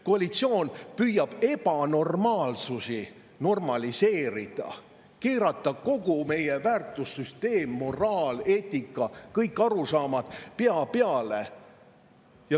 Koalitsioon püüab ebanormaalsusi normaliseerida, keerata kogu meie väärtussüsteemi, moraali, eetika, kõik arusaamad pea peale.